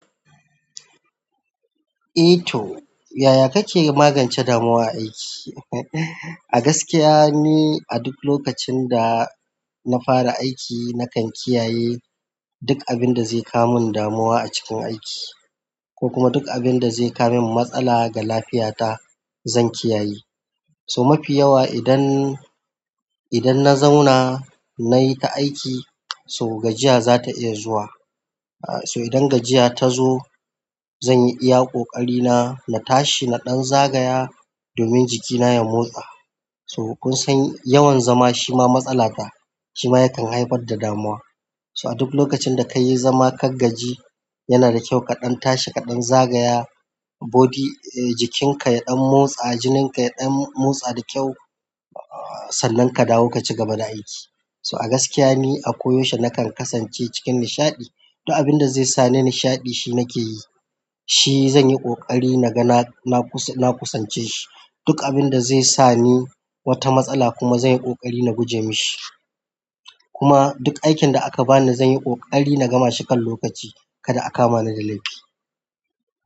Eh to, yaya kake magance damuwa a aiki? A gaskiya ni a duk lokacin da nafara aiki nakan kiyaye. Duk abinda zai kawo min damuwa a c ko kuma duk abin da zai kawo min matsala ga lafiyata zan kiyaye. To mafi yawa idan, idan na zauna nayi ta aiki, so gajiya za ta iya zuwa. Aaa so idan gajiya ta zo zan yi iya ƙoƙari na, na tashi na ɗan zagaya domin jikina ya motsa. To kunsan yawan zama shima matsala fa shima yakan haifar da damuwa to a duk lokacin da kayi zama ka gaji yana da kyau ka ɗan tashi ka ɗan zagaya body, eee jikinka ya ɗan motsa, jinin ka ya ɗan motsa da kyau, aa sannan ka dawo ka cigaba da aiki. To a gaskiya ni ako yaushe nakan kasance cikin nishaɗi duk abinda zai sani nishaɗi shi nakeyi eh zan yi ƙoƙari na ga na, na kusance shi. Duk abin da zai sa ni wata matsala kuma zan yi ƙoƙari na guje mushi. Kuma duk aikin da aka bani zan yi ƙoƙari na gama shi kan lokaci kada a kama ni da laifi.